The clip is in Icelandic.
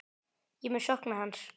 Ég mun sakna hans.